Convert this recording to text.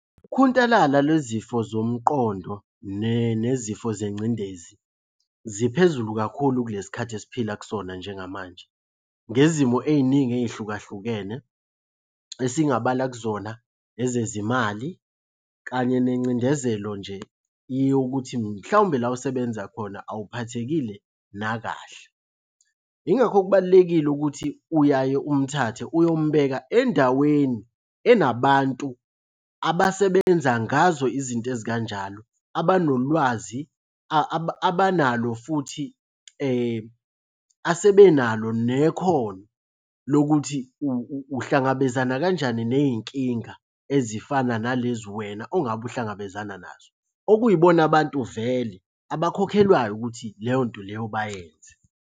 Ukhuntalala lwezifo zomqondo nezifo zengcindezi ziphezulu kakhulu kulesi khathi esiphila kusona njengamanje. Ngezimo ey'ningi ey'hlukahlukene esingabala kuzona, ezezimali, kanye nengcindezelo nje yokuthi mhlawumbe la osebenza khona awuphathekile nakahle. Yingakho kubalulekile ukuthi uyaye umthathe uyombheka endaweni enabantu abasebenza ngazo izinto ezikanjalo. Abanolwazi abanalo futhi asebenalo nekhono lokuthi uhlangabezana kanjani ney'nkinga ezifana nalezi wena ongabe uhlangabezana nazo. Okuyibona abantu vele abakhokhelwayo ukuthi leyo nto leyo bayenze.